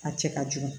A cɛ ka jugu